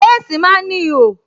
Léèsì máa ń ní ihò